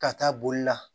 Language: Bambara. Ka taa boli la